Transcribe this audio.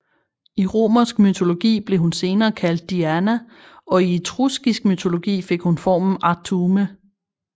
I romersk mytologi blev hun senere kaldt Diana og i etruskisk mytologi fik hun formen Artume